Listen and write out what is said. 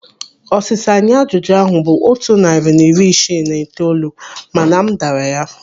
Ọsịsa nye ajụjụ ahụ bụ otu narị na iri isii na itoolu mana m dara ya.